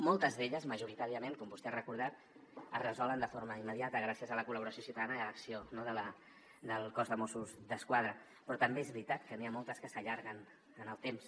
moltes d’elles majoritàriament com vostè ha recordat es resolen de forma immediata gràcies a la col·laboració ciutadana i a l’acció del cos de mossos d’esquadra però també és veritat que n’hi ha moltes que s’allarguen en el temps